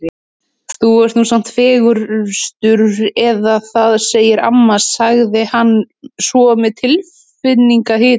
Þú ert nú samt fegurstur eða það segir amma sagði hann svo með tilfinningahita.